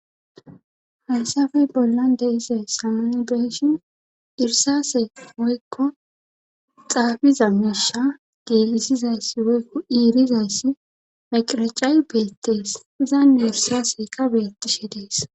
haysafey bollan deisay samonibeeshin irsase woykko xaafiza meesha geelisizayssi woykko iirizayssi maqiracayi beettees izan nersaseka beettishe dees